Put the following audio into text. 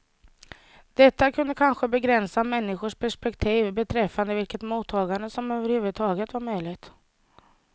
Detta kunde kanske begränsa människors perspektiv beträffande vilket mottagande som överhuvudtaget var möjligt.